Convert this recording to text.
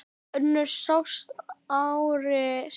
Önnur sást ári síðar.